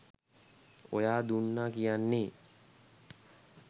ඔයා දුන්නා කියන්නේ